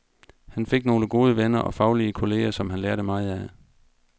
Han fik nogle gode venner og faglige kolleger, som han lærte meget af.